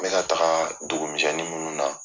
N bɛ ka taaga dugumisɛnnin munnu na